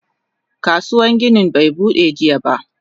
Kasuwan gini be Bude jiya ba.